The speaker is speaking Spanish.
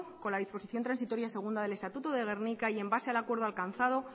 con la disposición transitoria segunda del estatuto de gernika y en base al acuerdo alcanzado